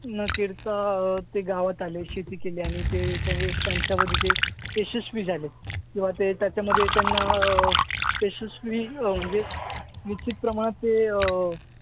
ते गावात आले. शेती केली आणि यशस्वी झालेत. किंवा ते त्याच्यामध्ये त्यांना अं यशस्वी अं म्हणजे निश्चितप्रमाणात ते अं